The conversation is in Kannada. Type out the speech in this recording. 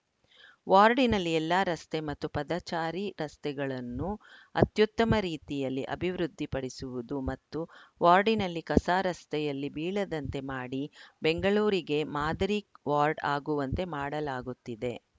ವಾರ್ಡಿನಲ್ಲಿ ಎಲ್ಲಾ ರಸ್ತೆ ಮತ್ತು ಪದಚಾರಿ ರಸ್ತೆಗಳನ್ನು ಅತ್ಯುತ್ತಮ ರೀತಿಯಲ್ಲಿ ಅಭಿವೃದ್ಧಿ ಪಡಿಸುವುದು ಮತ್ತು ವಾರ್ಡಿನಲ್ಲಿ ಕಸ ರಸ್ತೆಯಲ್ಲಿ ಬೀಳದಂತೆ ಮಾಡಿ ಬೆಂಗಳೂರಿಗೆ ಮಾದರಿ ವಾರ್ಡ್‌ ಆಗುವಂತೆ ಮಾಡಲಾಗುತ್ತಿದೆ